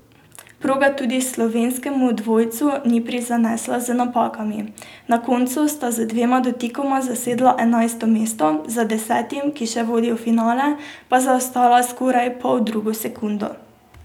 Proga tudi slovenskemu dvojcu ni prizanesla z napakami, na koncu sta z dvema dotikoma zasedla enajsto mesto, za desetim, ki še vodi v finale pa zaostala skoraj poldrugo sekundo.